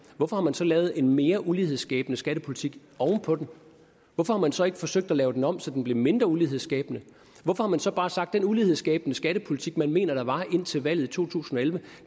hvorfor har man så lavet en mere ulighedsskabende skattepolitik oven på den hvorfor har man så ikke forsøgt at lave den om så den blev mindre ulighedsskabende hvorfor har man så bare sagt at den ulighedsskabende skattepolitik som man mener der var indtil valget to tusind og elleve